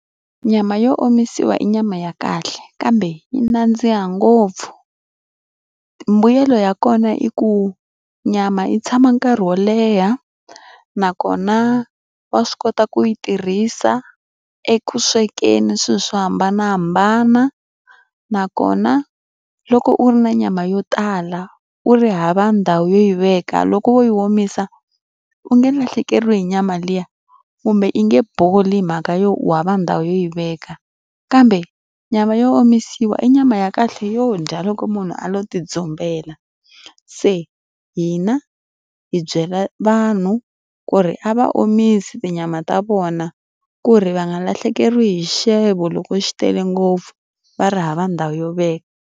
Nyama yo omisiwa i nyama ya kahle kambe yi nandziha ngopfu. Mbuyelo ya kona i ku nyama yi tshama nkarhi wo leha, nakona wa swi kota ku yi tirhisa eku swekeni swilo swo hambanahambana. Nakona loko u ri na nyama yo tala, u ri hava ndhawu yo yi veka loko wo yi omisa u nge lahlekeriwi hi nyama liya kumbe yi nge boli mhaka yo u hava ndhawu yo yi veka. Kambe nyama yo omisiwa i nyama ya kahle yo dya loko munhu a lo ti dzumbela. Se hina hi byela vanhu ku ri a va omise tinyama ta vona ku ri va nga lahlekeriwe hi xixevo loko xi tele ngopfu, va ri hava ndhawu yo veka.